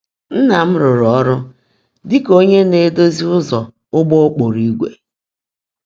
Nná m rụ́rụ́ ọ́rụ́ ḍị́ kà ónyé ná-èdózi ụ́zọ́ ụ́gbọ́ ókpoòró ígwè.